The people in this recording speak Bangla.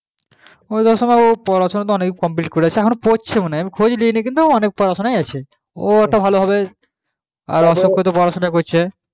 পড়াশোনা complete করেছে অনেক জন পড়ছে কিন্তু খোঁজ নেইনি অনেক জন পড়াশোনা করছে